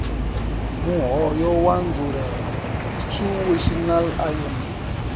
muhoyo wa nzulele situational irony